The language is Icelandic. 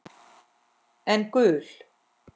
En gul?